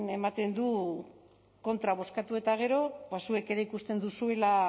ematen du kontra bozkatu eta gero ba zuek ere ikusten duzuela